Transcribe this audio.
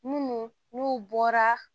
Munnu n'u bɔra